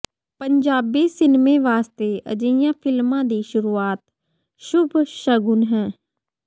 ਪੰਜਾਬੀ ਸਿਨਮੇ ਵਾਸਤੇ ਅਜਿਹੀਆਂ ਫ਼ਿਲਮਾਂ ਦੀ ਸ਼ੁਰੂਆਤ ਸ਼ੁੱਭ ਸ਼ਗੁਨ ਹੈ